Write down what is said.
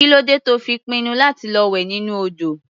Kí ló dé tí ó fi pinnu láti lọ wẹ̀ nínú odò?